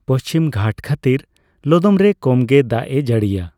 ᱯᱚᱪᱷᱤᱢᱜᱷᱟᱴ ᱠᱷᱟᱹᱛᱤᱨ ᱞᱚᱫᱚᱢᱨᱮ ᱠᱚᱢ ᱜᱮ ᱫᱟᱜᱼᱮ ᱡᱟᱹᱲᱤᱭᱟ ᱾